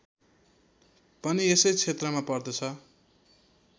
पनि यसै क्षेत्रमा पर्दछ